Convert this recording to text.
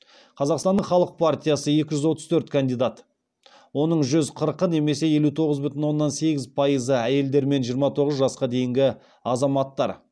қазақстанның халық партиясы екі жүз отыз төрт кандидат оның жүз қырықы немесе елу тоғыз бүтін оннан сегіз пайызы әйелдер мен жиырма оғыз жасқа дейінгі азаматтар